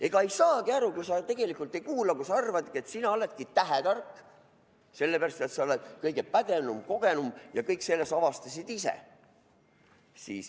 Ega ei saagi aru, kui sa tegelikult ei kuula, kui sa arvad, et sina oledki tähetark, sellepärast et sa oled kõige pädevam, kogenum ja kõik selle sa avastasid ise.